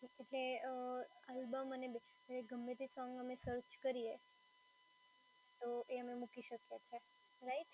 એટલે અર આલ્બમ અને ગમેતે સોંગ અમે સર્ચ કરીએ એ અમે મૂકી શકીએ